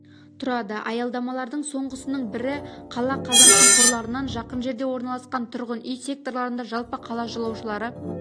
тұрады аялдамалардың соңғысының бірі қала қазан шұңқырларынан жақын жерде орналасқан тұрғын үй секторларында жалпы қала жолаушылары